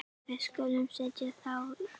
Við skulum setja þá í vaskafat og láta þá kólna.